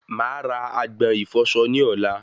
Màá ra agbọ̀n ìfọsọ ní ọ̀la